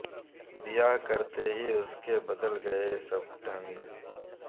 بیاہ کرتے ہی اس کے بدل گئے سب ڈھنگ